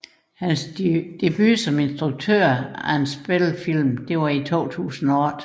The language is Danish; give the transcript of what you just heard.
Hans debut som instruktør af en spillefilm var i 2008